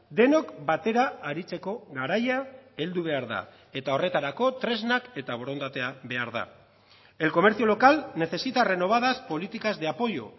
denok batera aritzeko garaia heldu behar da eta horretarako tresnak eta borondatea behar da el comercio local necesita renovadas políticas de apoyo